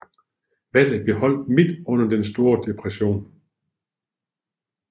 Valget blev holdt midt under den store depressionen